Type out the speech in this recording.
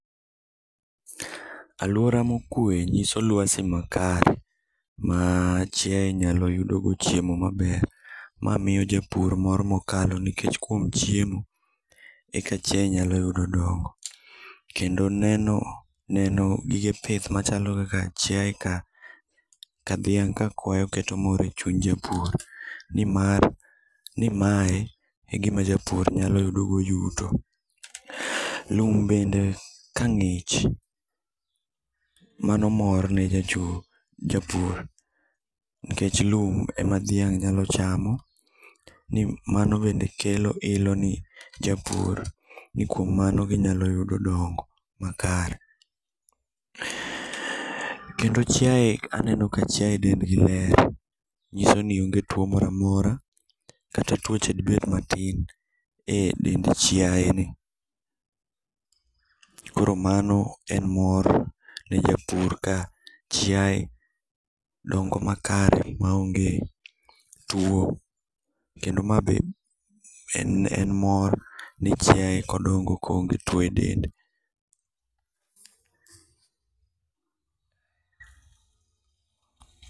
Aluora mokue nyiso lwasi makare maa chiaye nyalo yudo go chiemo maber mamiyo japur mor mokalo nikech kuom chiemo eka chiaye nyalo yudo dongo. Kendo neno neno gige pith machalo kaka chiaye ka dhiang' ka kwayo keto mor echuny japur. Nimar nimae egima japur nyalo yudo go yuto. Lum bende ka ng'ich, mano mor mar ne japur. Niekch lum ema dhiang' nyalo chamo ni mano bende kelo ilo ne japur ni kuom mano ginyalo yudo dongo makare. Kendo chiaye aneno ka chiaye dendgi ler nyisoni onge tuo moro amora kata tuoche dibed matin e dend chiayeni. Koro mano en mor ne japur ka chiaye dongo makare maonge tuo. Kendo ma be en mor ni chiaye dongo koonge tuo e dende.